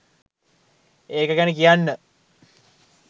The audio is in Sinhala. ඒක ගැන කියන්න